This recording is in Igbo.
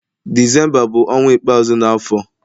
Disemba bu onwa ikpeazu na afo